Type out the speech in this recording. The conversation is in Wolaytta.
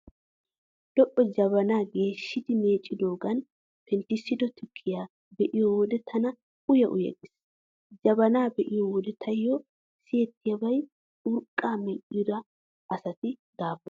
Lo'o jabanaa geeshidi meeccidoogaani penttissido tukkiyaa be'iyo wode tana uya uya gees. Jabanaa be'iyo wode taayyo siyettiyaabay urqqaa medhdhiyaa asati daafuraa.